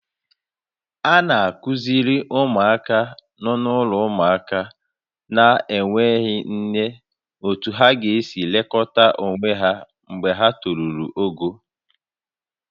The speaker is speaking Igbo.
A na-akụziri ụmụaka nọ n'ụlọ ụmụaka na-enweghị nne otú ha ga-esi elekọta onwe ha mgbe ha toruru ogo